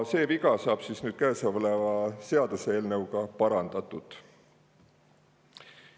See viga saab nüüd käesoleva seaduseelnõuga parandatud.